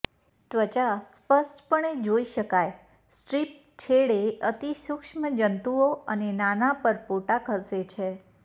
ત્વચા સ્પષ્ટપણે જોઇ શકાય સ્ટ્રીપ છેડે અતિ સૂક્ષ્મ જંતુઓ અને નાના પરપોટા ખસે છે